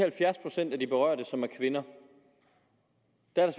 halvfjerds procent af de berørte som er kvinder